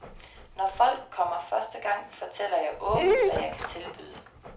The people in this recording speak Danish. Når folk kommer første gang, fortæller jeg åbent, hvad jeg kan tilbyde.